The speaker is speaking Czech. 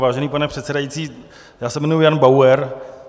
Vážený pane předsedající, já se jmenuji Jan Bauer.